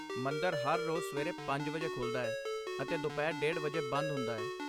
ਮੰਦਰ ਹਰ ਰੋਜ਼ ਸਵੇਰੇ ਪੰਜ ਵਜੇ ਖੁੱਲ੍ਹਦਾ ਹੈ ਅਤੇ ਦੁਪਹਿਰ ਡੇਢ ਵਜੇ ਬੰਦ ਹੁੰਦਾ ਹੈ